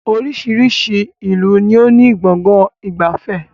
Oríṣiríṣi ìlú ni ó ní Gbọ̀ngán ìgbafẹ́